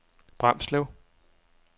Bramslev